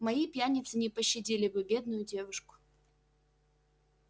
мои пьяницы не пощадили бы бедную девушку